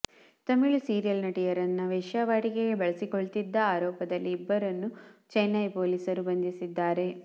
Tamil serial ನಟಿಯರನ್ನ ವೇಶ್ಯಾವಾಟಿಕೆಗೆ ಬಳಸಿಕೊಳ್ತಿದ್ದ ಆರೋಪದಲ್ಲಿ ಇಬ್ಬರನ್ನ ಚೆನ್ನೈ ಪೊಲಿಸರು ಬಂಧಿಸಿದ್ದಾರೆ